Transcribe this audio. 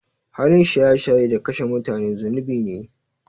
Halin shaye shaye da kashe mutane zunubi ne.